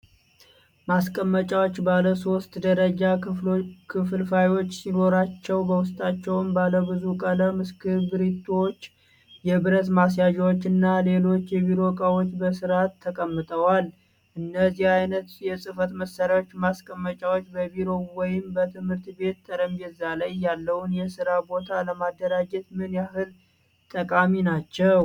ማስቀመጫዎቹ ባለሦስት ደረጃ ክፍልፋዮች ሲኖሯቸው፣ በውስጣቸውም ባለብዙ ቀለም እስክሪብቶዎች፣ የብረት ማስያዣዎች እና ሌሎች የቢሮ እቃዎች በሥርዓት ተቀምጠዋል። እነዚህ ዓይነት የጽህፈት መሳሪያ ማስቀመጫዎች በቢሮ ወይም በትምህርት ቤት ጠረጴዛ ላይ ያለውን የስራ ቦታ ለማደራጀት ምን ያህል ጠቃሚ ናቸው?